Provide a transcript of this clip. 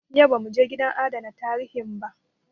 Yau ba mu je gidan adana tarihin ba.